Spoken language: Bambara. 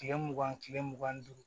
Kile mugan ni kile mugan ni duuru